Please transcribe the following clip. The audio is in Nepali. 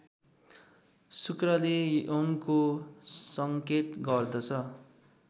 शुक्रले यौनको सङ्केत गर्दछ